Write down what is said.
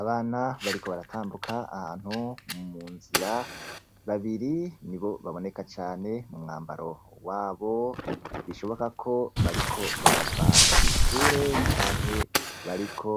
Abana bariko baratambuka ahantu munzira, babiri nibo baboneka cane umwambaro wabo biboneka ko bariko barava kw'ishure canke bariko